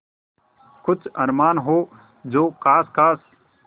कुछ अरमान हो जो ख़ास ख़ास